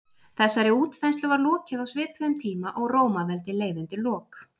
Þessari útþenslu var lokið á svipuðum tíma og Rómaveldi leið undir lok.